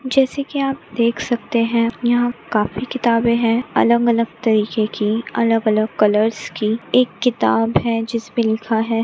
जैसे की आप देख सकते है यहाँ काफी किताबे है अलग अलग तरीकेकी अलग अलग कलर्स की एक किताब है जिसपे लिखा है।